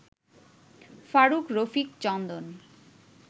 Faruk, Rafiq, Chandan